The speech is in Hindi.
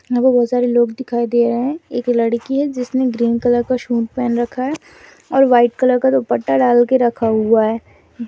यहाँ पर बहुत सारे लोग दिखाई दे रहे है एक लड़की है जिसने ग्रीन कलर का सूट पहनकर रखा है और व्हाइट कलर का दुपट्टा डाल के रखा हुआ है।